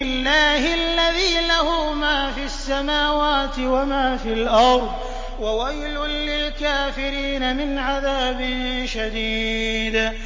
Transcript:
اللَّهِ الَّذِي لَهُ مَا فِي السَّمَاوَاتِ وَمَا فِي الْأَرْضِ ۗ وَوَيْلٌ لِّلْكَافِرِينَ مِنْ عَذَابٍ شَدِيدٍ